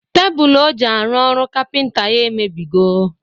Tebụl ọ ji arụ ọrụ kapịnta ya emebigo